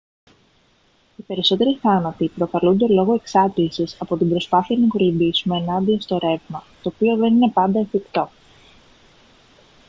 οι περισσότεροι θάνατοι προκαλούνται λόγω εξάντλησης από την προσπάθεια να κολυμπήσουμε ενάντια στο ρεύμα το οποίο δεν είναι πάντα εφικτό